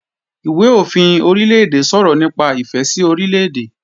Ìwé-òfin Orílè-èdè sọ̀rọ̀ nípa ìfẹ́ sí Orílè-èdè